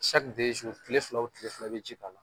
tile fila o tile fila i bɛ ji k'a la.